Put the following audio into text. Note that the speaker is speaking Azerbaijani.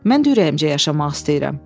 Mən də ürəyimcə yaşamaq istəyirəm.